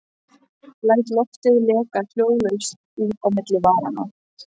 Læt loftið leka hljóðlaust út á milli varanna.